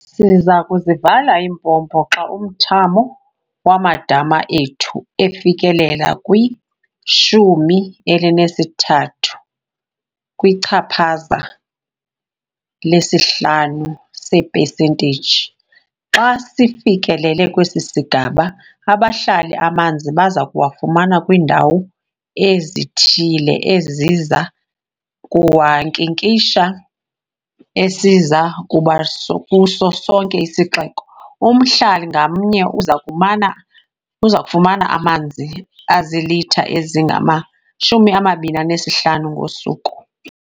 "Siza kuzivala iimpompo xa umthamo wamadama ethu efikelela kwi-13 kwichaphaza lesi-5 seepesenteyiji. Xa sifikilele kwesi sigaba, abahlali amanzi baza kuwafumana kwiindawo ezithile eziza kuwankinkisha esiza kuba kuso sonke isixeko. Umhlali ngamnye uza kufumana amanzi azilitha ezingama-25 ngosuku."